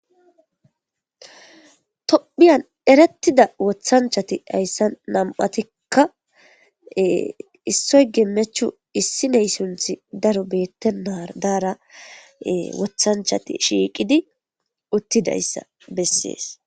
Tophphiyan eretida woththanchati hayssan nam'atika issoy gemechu issiney sunththi daaro bettenara dara woththanchati shiqqi uutidayssa beses.